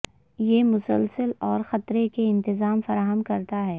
یہ مسلسل اور خطرے کے انتظام فراہم کرتا ہے